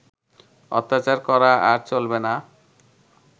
অত্যাচার করা আর চলবে না